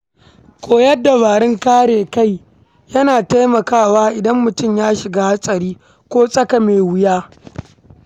Koyon dabarun kare kai yana taimakawa idan mutum ya shiga hatsari ko tsaka me wuya